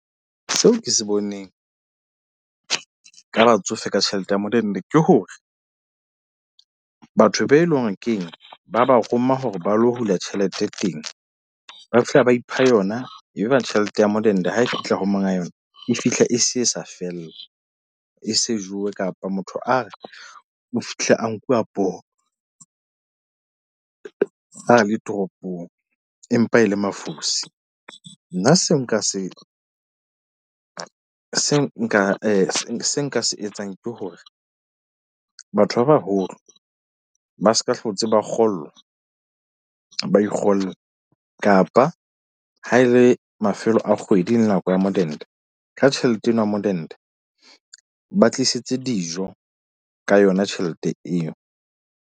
Seo ke se boneng ka batsofe ka tjhelete ya modende, ke hore batho be leng hore keng ba ba roma hore ba lo hula tjhelete teng. Ba fihla, ba ipha yona, ebe tjhelete ya modende ha e fihla ho monga yona e fihla, e se e sa fella. E se jewe kapa motho a re o fihlile a nkuwa poho a le toropong. Empa e le mafosi, nna seo nka se se nka se nka se etsang ke hore batho ba baholo, ba ska hlotse, ba kgollwa. Ba ikgolle kapa ha e le mafelo a kgwedi, nako ya modende ka tjhelete eno ya modende ba tlisitse dijo ka yona tjhelete eo.